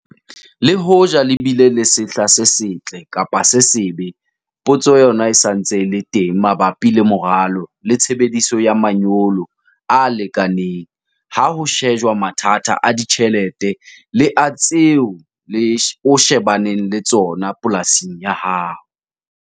Le hoja le bile le sehla se setle kapa se sebe, potso yona e sa ntse e le teng mabapi le moralo le tshebediso ya manyolo a lekaneng ha ho shejwa mathata a ditjhelete le a tseo o shebaneng le tsona polasing ya hao.